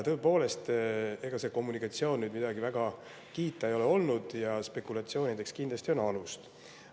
Tõepoolest, ega see kommunikatsioon väga kiita ei ole olnud ja spekulatsioonideks on kindlasti alust.